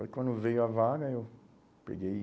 Aí quando veio a vaga, eu peguei.